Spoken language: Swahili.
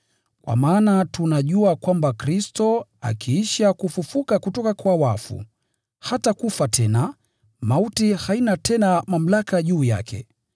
Kwa maana tunajua kwamba Kristo, kwa sababu alifufuliwa kutoka kwa wafu, hawezi kufa tena; mauti haina tena mamlaka juu yake.